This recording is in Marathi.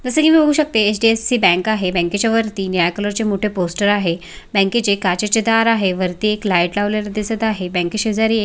जस की मी बघू शकते एच.डी.यफ.सी बँक आहे बँकेच्या वरती निळ्या कलर चे मोठे पोस्टर आहे बँकेचे काचेचे दार आहे वरती एक लाइट लावलेला दिसत आहे बँके शेजारी--